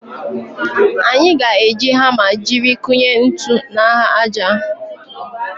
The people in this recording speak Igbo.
Anyị ga-eji hama jiri kụnye ntu n'ahụ aja.